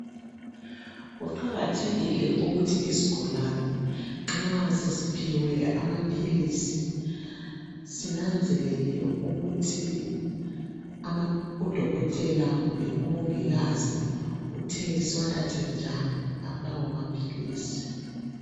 Kuqakathekile ukuthi isigulane nxa sesiphiwe amaphilisi sinanzelele ukuthi udokotela kumbe umongikazi utheni siwathathe njani lawa amaphilisi.